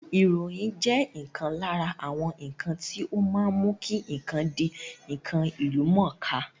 Ìròyìn jẹ́ ǹkan lára àwọn ǹkan tí ó má ń mú kí ǹkan di ǹkan ìlúmọ̀ọ́ká